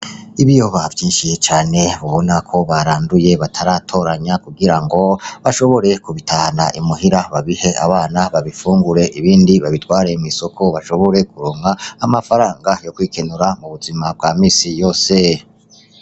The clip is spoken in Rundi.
Ibiyoba vyinshi cane wobonako baranduye bataratoranya kugirango bashobore kubitahana I muhira babihe abana babifungure ibindi babitware mw'isoko bashobore kuronka amafaranga yokwikemura mu buzima bga minsi yose .